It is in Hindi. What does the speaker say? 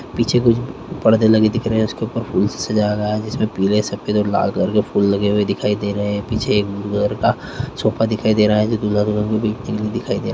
पीछे कुछ परदे लगे दिख रहे हैं उसके ऊपर फूल से सजा रहा है जिसमे पीले सफेद और लाल कलर के फूल लगे हुए दिखाई दे रहे है पीछे एक ब्लू कलर का सोफा दिखाई दे रहा है जो दूल्हा-दुल्हन के बैठने के दिखाई दे रहा।